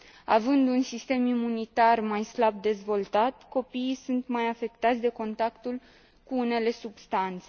Având un sistem imunitar mai slab dezvoltat, copiii sunt mai afectați de contactul cu unele substanțe.